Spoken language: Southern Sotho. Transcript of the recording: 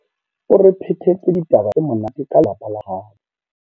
O re phetetse ditaba tse monate ka lelapa la habo.